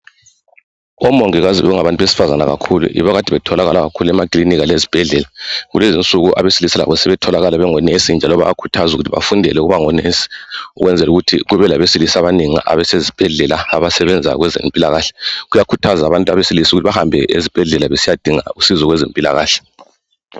Omongikazi bekungabantu besifazana kakhulu, Yibo abaiade betholaiala kakhulu emakilinika, lezibhedlela. Kulezi insuku, abesilisa labo sebetholakala bengonesi, njalo bayakhuthazwa ukuthi bafundele ukuba ngonesi. Ukwenzeka ukuthi kube kubelabesilisa abanengi abasezibhedoela kwezempilakahle, Kuyakhuthazwa abantu besilisa ukuthi bahanbe ezibhedlela. Besiyadinga usizo kwezempilakahle.